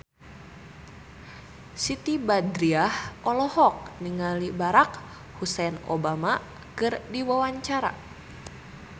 Siti Badriah olohok ningali Barack Hussein Obama keur diwawancara